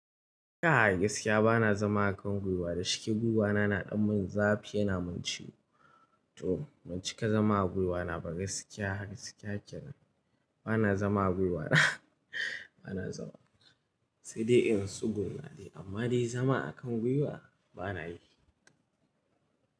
Kai gaskiya bana zama a kan gwiwa da shike gwiwa na na ɗan mun zafi yana mun ciwo. To ban cika zama a gwiwa na ba gaskiya gaskiya kenan bana zama a gwiwa sai dai in tsuguna amma dai zama a kan gwiwa bana yi.